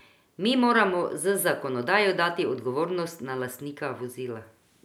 Mi moramo z zakonodajo dati odgovornost na lastnika vozila.